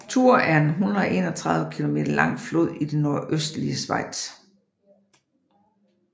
Thur er en 131 km lang flod i det nordøstlige Schweiz